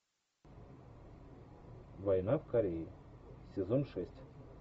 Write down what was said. война в корее сезон шесть